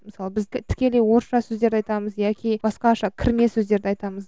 мысалы біз тікелей орысша сөздерді айтамыз яки басқаша кірме сөздерді айтамыз